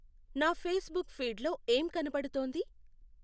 నా ఫేస్బుక్ ఫీడ్లో ఏం కనపడుతోంది?